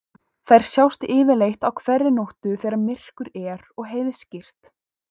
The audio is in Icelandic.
Þær sjást yfirleitt á hverri nóttu þegar myrkur er og heiðskírt.